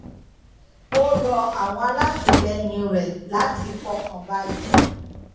ó rọ àwọn alátìlẹyìn rẹ láti fọkàn balẹ